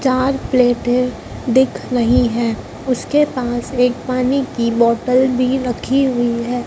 चार प्लेटें दिख रही हैं उसके पास एक पानी की बॉटल भी रखी हुई हैं।